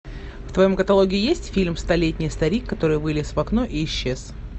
в твоем каталоге есть фильм столетний старик который вылез в окно и исчез